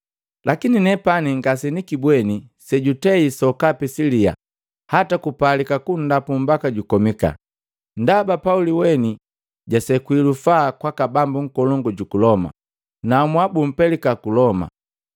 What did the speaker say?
Lakini nepani ngasenikibweni sejutei sokapi siliya hata kupalika kunndapu mbaka jukomika. Ndaba Pauli weni jasekwi lufaa kwaka bambu nkolongu juku Loma, naamua bumpeleka ku Loma.